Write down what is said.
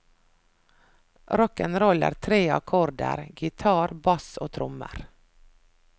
Rock'n roll er tre akkorder, gitar, bass og trommer.